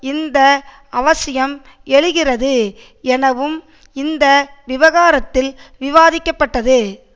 இந்த அவசியம் எழுகிறது எனவும் இந்த விவகாரத்தில் விவாதிக்கப்பட்டது